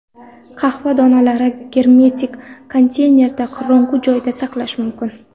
Qahva donalarini germetik konteynerda qorong‘u joyda saqlash mumkin.